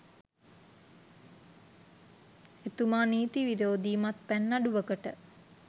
එතුමා නීති විරෝධී මත්පැන් නඩුවකට